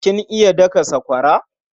Kin iya daka sakwara?